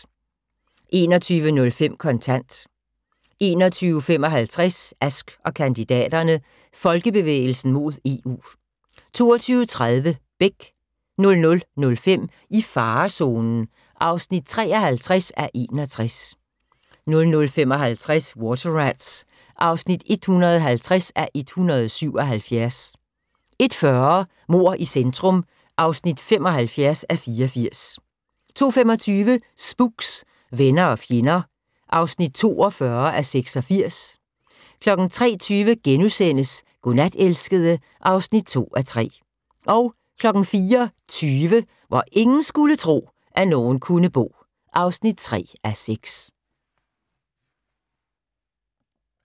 21:05: Kontant 21:55: Ask & kandidaterne: Folkebevægelsen mod EU 22:30: Beck 00:05: I farezonen (53:61) 00:55: Water Rats (150:177) 01:40: Mord i centrum (75:84) 02:25: Spooks: Venner og fjender (42:86) 03:20: Godnat, elskede (2:3)* 04:20: Hvor ingen skulle tro, at nogen kunne bo (3:6)